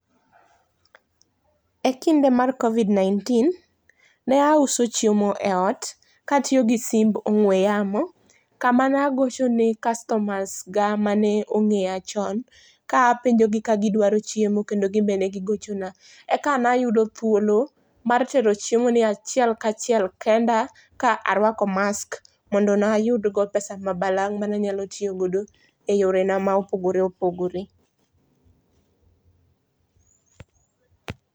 Ekinde mar Covid 19 ne auso chiemo e ot ka atiyo gi simb mar ongwe yamo e kamane agochone kastomas ga mane ongeyo chon kapenjogi ka gidwaro chiemo kendo gin be ne gigochona eka ne ayudo thuolo mar tero chiemo ni achiel kachiel kenda ka arwako mask mondo ne ayud go pesa ma balang mane anyalo tiyo godo eyorena ma opogore opogore